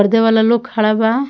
ख़रीदे वाला लोग खड़ा बा।